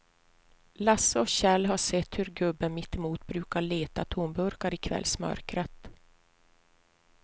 Lasse och Kjell har sett hur gubben mittemot brukar leta tomburkar i kvällsmörkret.